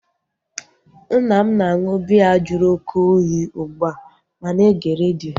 Nna m na-aṅụ biya jụrụ oké oyi ugbua ma na-ege redio